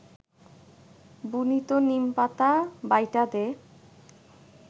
বুনিত নিমপাতা বাইটা দে